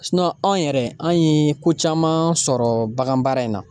anw yɛrɛ an ye ko caman sɔrɔ baganbaara in na